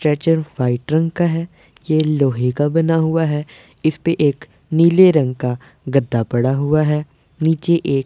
stretcher white रंग का है ये लोहे का बना हुआ है इसपे एक नीले रंग का गद्दा पड़ा हुआ है नीचे एक--